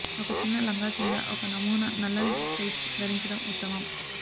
ఒక చిన్న లంగా కింద ఒక నమూనా నల్లని టైట్స్ ధరించడం ఉత్తమం